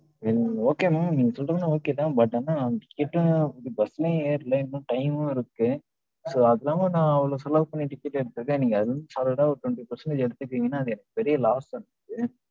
then okay mam நீங்க சொல்றது எல்லாம் okay தான். but ஆனா எப்படியும் bus லயு ஏறல. இன்னும் time மு இருக்கு, so அது இல்லாம நான் அவ்ளோ செலவு பண்ணி ticket எடுத்துருக்கேன், நீங்க அதுல இருந்து solid ஆ ஒரு twenty percentage எடுத்துட்டீங்கனா, அது எனக்கு ஒரு பெரிய loss தான எனக்கு.